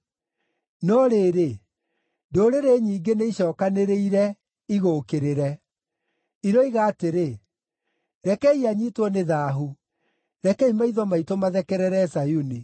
No rĩrĩ, ndũrĩrĩ nyingĩ nĩicookanĩrĩire, igũũkĩrĩre. Iroiga atĩrĩ, “Rekei anyiitwo nĩ thaahu, rekei maitho maitũ mathekerere Zayuni!”